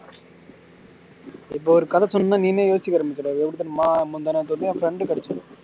இப்ப ஒரு கதை சொல்லி இருந்தா நீ இந்நேரம் யோசிச்சிட்டு எப்படி தெரியுமா முந்தனாத்து என் friend கிடைச்சது